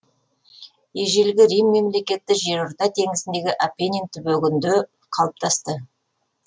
ежелгі рим мемлекеті жерорта теңізіндегі апенин түбегінде қалыптасты